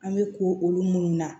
An bɛ ko olu munnu na